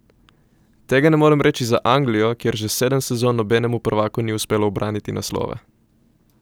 Tega ne morem reči za Anglijo, kjer že sedem sezon nobenemu prvaku ni uspelo ubraniti naslova.